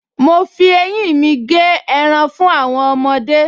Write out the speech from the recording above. Mo fi eyín mi gé ẹran fún àwọn ọmọdé